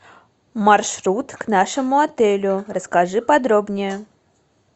маршрут к нашему отелю расскажи подробнее